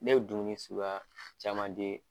Ne ye dumuni sukuya caman di